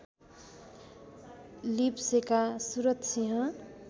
लिबसेका Surath Singh